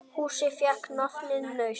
Húsið fékk nafnið Naust.